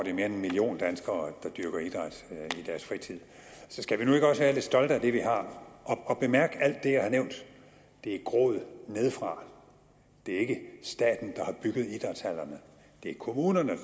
end en million danskere der dyrker idræt i deres fritid så skal vi nu ikke også være lidt stolte af det vi har og bemærk at det jeg har nævnt er groet nede fra det er ikke staten der har bygget idrætshallerne det er kommunerne